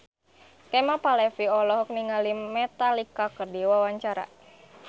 Kemal Palevi olohok ningali Metallica keur diwawancara